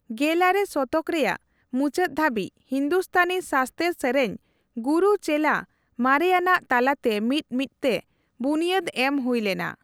ᱜᱮᱞᱟᱨᱮ ᱥᱚᱛᱚᱠ ᱨᱮᱭᱟᱜ ᱢᱩᱪᱟᱹᱫ ᱫᱷᱟᱹᱵᱤᱡ, ᱦᱤᱱᱫᱩᱥᱛᱷᱟᱱᱤ ᱥᱟᱥᱛᱮᱨ ᱥᱮᱨᱮᱧ ᱜᱩᱨᱩᱼᱪᱮᱞᱟ ᱢᱟᱨᱮᱭᱟᱱᱟᱜ ᱛᱟᱞᱟᱛᱮ ᱢᱤᱫ ᱢᱤᱫᱛᱮ ᱵᱩᱱᱭᱟᱹᱫ ᱮᱢ ᱦᱩᱭ ᱞᱮᱱᱟ ᱾